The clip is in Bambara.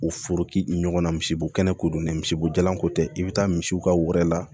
U foroki ɲɔgɔnna misibo kɛnɛko don misibo jalanko tɛ i bɛ taa misiw ka wɛrɛ la